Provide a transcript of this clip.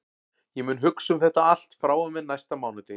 Ég mun hugsa um þetta allt frá og með næsta mánudegi.